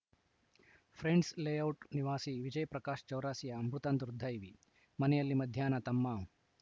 friends layout ನಿವಾಸಿ ವಿಜಯ್‌ ಪ್ರಕಾಶ್‌ ಚೌರಾಸಿಯಾ ಮೃತ ದುರ್ದೈವಿ ಮನೆಯಲ್ಲಿ ಮಧ್ಯಾಹ್ನ ತಮ್ಮ